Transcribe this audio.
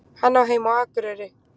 Hann á heima á Akureyri.